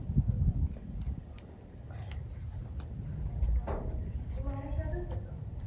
अच्छा म्हणजे महाराष्ट्रातच आहे का?